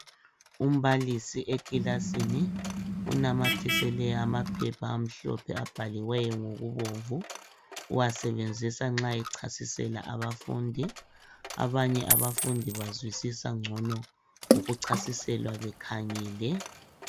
Umbalisi ekilasini unamathisele amaphepha amhlophe abhaliweyo ngokubomvu, uwasebenzisa nxa echasisela abafundi, abanye abafundi bazwisisa ngcono ukuchasiselwa bekhangele.